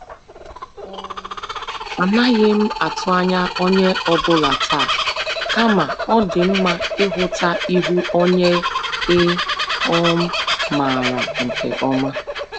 um Anaghị m atụ ányá onyé ọ bụla taa, kama ọ dị mma ịhụta ihu onye ị um maara nke ọma.